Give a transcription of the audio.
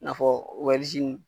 I n'a fɔ